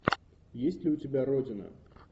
есть ли у тебя родина